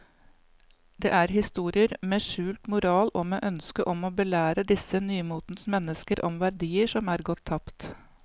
Det er historier med skjult moral og med ønske om å belære disse nymotens mennesker om verdier som er gått tapt.